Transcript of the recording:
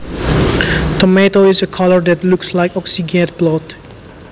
Tomato is a color that looks like oxygened blood